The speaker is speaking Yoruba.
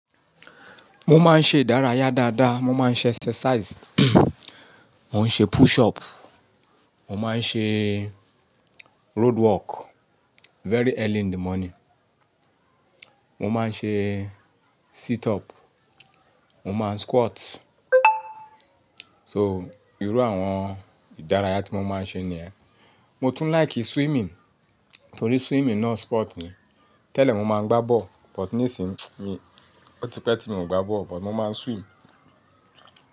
Mo máa ń ṣe ìdárayá dáadáa, mo máa ń ṣe exercise, mo ń ṣe push up, mo máa ń ṣe roadwork very early in the morning, mo máa ń ṣe sit up, mo máa ń squat, o irú àwọn ìdárayá tí mo máa ń ṣe nìyẹn. Mo tún like swimming torí swimming náà sport ni. Tẹ́lẹ̀ mo máa ń gbá ball but nísìí mi ó ti pẹ́ tí mo ò gbá ball but mo máa ń swim.